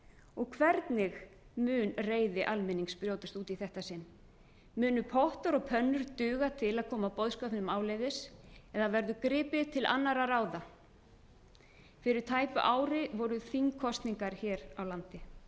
og hvernig mun reiði almennings brjótast út í þetta sinn munu pottar og pönnur duga til að koma boðskapnum áleiðis eða verður gripið til annarra ráða fyrir tæpu ári voru þingkosningar hér á landi